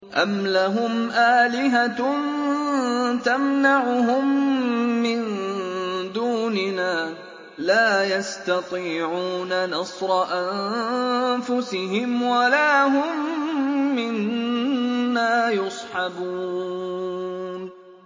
أَمْ لَهُمْ آلِهَةٌ تَمْنَعُهُم مِّن دُونِنَا ۚ لَا يَسْتَطِيعُونَ نَصْرَ أَنفُسِهِمْ وَلَا هُم مِّنَّا يُصْحَبُونَ